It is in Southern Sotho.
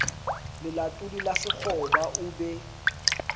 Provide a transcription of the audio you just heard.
lelatodi la sekgoba o be